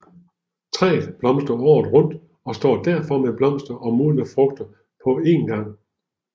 Træet blomstrer året rundt og står derfor med blomster og modne frugter på en gang